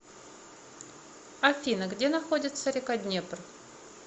афина где находится река днепр